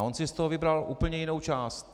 A on si z toho vybral úplně jinou část.